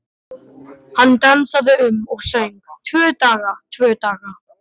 Hann dansaði um og söng: Tvo daga, tvo daga